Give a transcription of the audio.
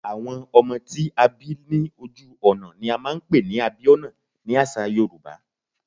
Àwọn ọmọ tí a bí lójú ọ̀nà ni a máa ń pè ní Abíọ́nà ni àṣà Yorùbá.